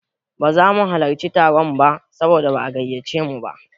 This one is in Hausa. Ba za mu halarci taron ba saboda ba'a gayyace mu ba.